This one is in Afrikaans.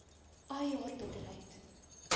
ai haar bitterheid